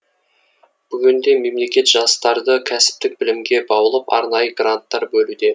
бүгінде мемлекет жастарды кәсіптік білімге баулып арнайы гранттар бөлуде